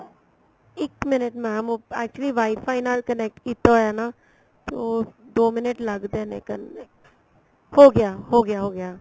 ਇੱਕ minute mam actually WIFI ਨਾਲ connect ਕੀਤਾ ਹੋਇਆ ਨਾ ਤੇ ਉਹ ਦੋ minute ਲੱਗਦੇ ਨੇ ਕਰਨ ਤੇ ਹੋਗਿਆ ਹੋਗਿਆ ਹੋਗਿਆ